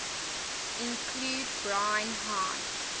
include brine high